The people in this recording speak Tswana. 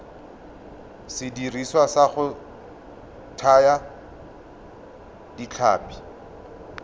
sediriswa sa go thaya ditlhapi